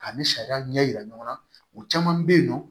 Ani sariya ɲɛ yira ɲɔgɔn na u caman bɛ yen nɔ